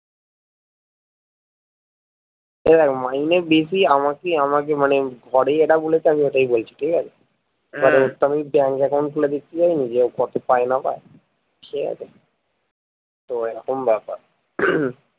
এই দেখ মাইনে বেশি আমাকে আমাকে মানে ধরে যেটা বলেছে আমি ওটাই বলছি ঠিকাছে ওর তো আমি bank account খুলে দেখতে যায়নি যে ও কত পাই না পাই ঠিক আছে তো এরকম ব্যাপার